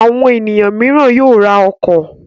Àwọn ènìyàn mìíràn yóò ra ọkọ̀.